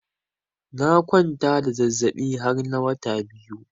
Na kwanta da zazabi har na wata biyu.